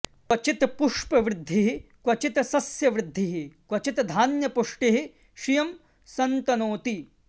क्वचित् पुष्पवृद्धिः क्वचित् सस्य वृद्धिः क्वचिद् धान्यपुष्टिः श्रियं सन्तनोति